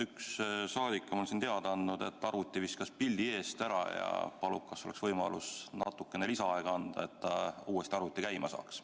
Üks saadik on siin teada andnud, et arvuti viskas pildi eest ära, ja palub, kas oleks võimalus natukene lisaaega anda, et ta uuesti arvuti käima saaks.